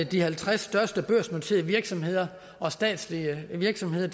de halvtreds største børsnoterede virksomheder og statslige virksomheder